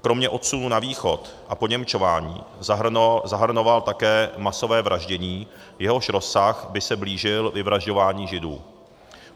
Kromě odsunu na Východ a poněmčování zahrnoval také masové vraždění, jehož rozsah by se blížil vyvražďování židů.